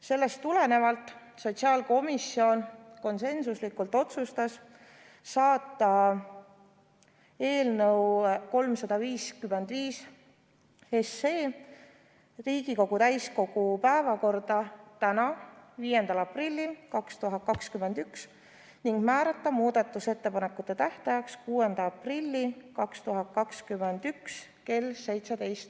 Sellest tulenevalt sotsiaalkomisjon konsensuslikult otsustas saata eelnõu 355 Riigikogu täiskogu päevakorda tänaseks, 5. aprilliks 2021 ning määrata muudatusettepanekute tähtajaks 6. aprilli 2021 kell 17.